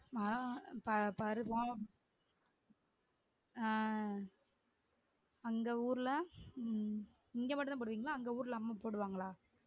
மழை பருவம் அஹ் அந்த ஊர்ல உம் இங்க மட்டும்தான் போடுவிங்களா அங்க ஊர்ல அம்மா போடுவாங்களா?